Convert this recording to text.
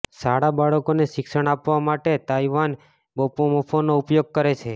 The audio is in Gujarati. શાળા બાળકોને શિક્ષણ આપવા માટે તાઇવાન બોપોમોફોનો ઉપયોગ કરે છે